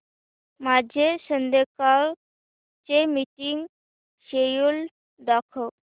माझे संध्याकाळ चे मीटिंग श्येड्यूल दाखव